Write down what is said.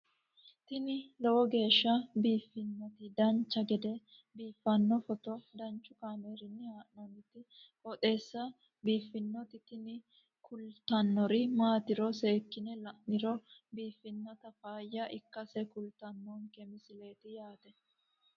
tini lowo geeshsha biiffannoti dancha gede biiffanno footo danchu kaameerinni haa'noonniti qooxeessa biiffannoti tini kultannori maatiro seekkine la'niro biiffannota faayya ikkase kultannoke misileeti yaate